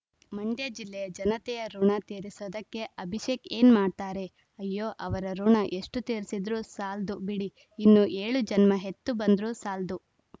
ಮಂಡ್ಯ ಜಿಲ್ಲೆಯ ಜನತೆಯ ಋುಣ ತೀರಿಸೋದಕ್ಕೆ ಅಭಿಷೇಕ್‌ ಏನ್‌ ಮಾಡ್ತಾರೆ ಅಯ್ಯೋ ಅವರ ಋುಣ ಎಷ್ಟುತೀರಿಸಿದ್ರು ಸಾಲ್ದು ಬಿಡಿ ಇನ್ನು ಏಳು ಜನ್ಮ ಹೆತ್ತು ಬಂದ್ರು ಸಾಲ್ದು